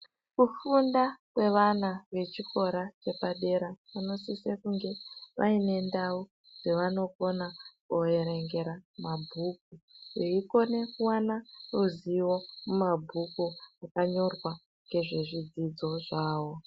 Kufunda kwevana vechikora chepadera vanosise kunge vaine ndau dzavanokona kuerengera mabhuku, veikona kuwana ruzivo mumabhuku akanyorwa ngezvezvidzidzo zvawo.